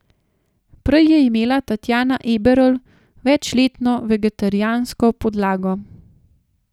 Prej je imela Tatjana Eberl večletno vegetarijansko podlago.